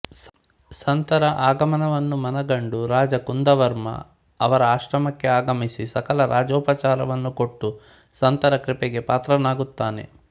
ಸಂತರ ಆಗಮನವನ್ನು ಮನಗಂಡು ರಾಜ ಕುಂದವರ್ಮ ಅವರ ಆಶ್ರಮಕ್ಕೆ ಆಗಮಿಸಿ ಸಕಲ ರಾಜೋಪಚಾರವನ್ನು ಕೊಟ್ಟು ಸಂತರ ಕೃಪೆಗೆ ಪಾತ್ರನಾಗುತ್ತಾನೆ